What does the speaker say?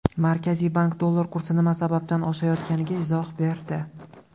Markaziy bank dollar kursi nima sababdan oshayotganiga izoh berdi.